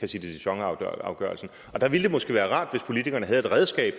de dijon afgørelsen der ville det måske være rart hvis politikerne havde et redskab